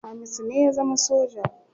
Hamisu ne ya zama soja.